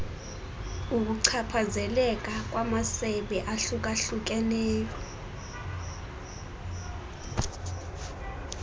ukuchaphazeleka kwamasebe ahlukahlukeneyo